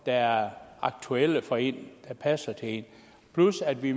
er aktuelle for en der passer til en plus at vi